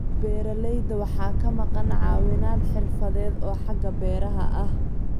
Beeralayda waxaa ka maqan caawinaad xirfadeed oo xagga beeraha ah.